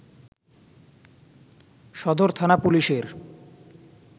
সদর থানা পুলিশের